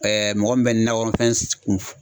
mɔgɔ min bɛ nakɔnɔ fɛn